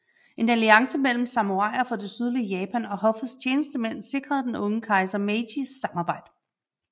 En alliance mellem samuraier fra det sydlige Japan og hoffets tjenestemænd sikrede den unge kejser Meijis samarbejde